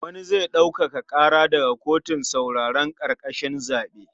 Wani zai ɗaukaka ƙara daga kotun sauraron ƙararrakin zaɓe.